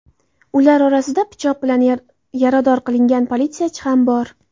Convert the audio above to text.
Ular orasida pichoq bilan yarador qilingan politsiyachi ham bor.